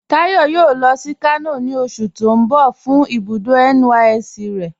Táyọ̀ yóò lọ sí Kano ni oṣù̀ ti n bọ̀ fun ibùdó NYSC rẹ̀